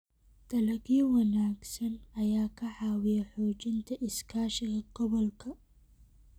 Dalagyo wanaagsan ayaa ka caawiya xoojinta iskaashiga gobolka.